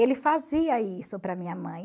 Ele fazia isso para minha mãe.